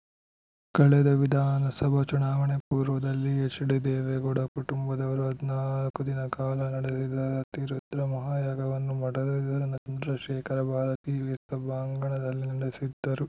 ಕಳೆದ ವಿಧಾನಸಭಾ ಚುನಾವಣೆ ಪೂರ್ವದಲ್ಲಿ ಎಚ್‌ಡಿದೇವೇಗೌಡ ಕುಟುಂಬದವರು ಹದಿನಾಲ್ಕು ದಿನ ಕಾಲ ನಡೆದಿದ ಅತಿರುದ್ರ ಮಹಾಯಾಗವನ್ನು ಮಠದ ಎದುರಿನ ಚಂದ್ರಶೇಖರ ಭಾರತೀ ಸಭಾಂಗಣದಲ್ಲಿ ನಡೆಸಿದ್ದರು